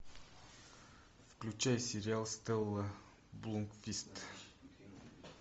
включай сериал стелла блумквист